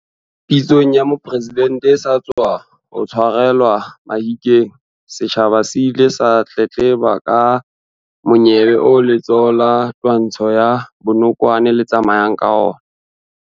Pitsong ya Mopresidente e sa tswa tshwarelwa Mahikeng, setjhaba se ile sa tletleba ka monyebe oo letsholo la twantsho ya bonokwane le tsamayang ka ona.